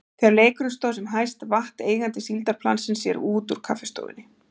Þegar leikurinn stóð sem hæst vatt eigandi síldarplansins sér út úr kaffistofunni.